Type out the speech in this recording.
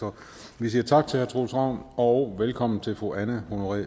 så vi siger tak til herre troels ravn og velkommen til fru anne honoré